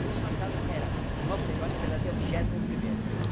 E os fantasmas eram... O nosso herói, na verdade, é o vigésimo primeiro.